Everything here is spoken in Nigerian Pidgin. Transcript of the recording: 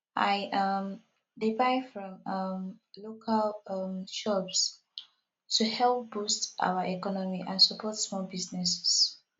i um dey buy from um local um shops to help boost our economy and support small businesses